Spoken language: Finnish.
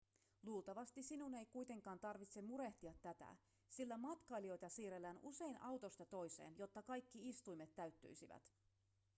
luultavasti sinun ei kuitenkaan tarvitse murehtia tätä sillä matkailijoita siirrellään usein autosta toiseen jotta kaikki istuimet täyttyisivät